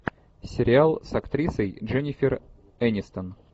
сериал с актрисой дженнифер энистон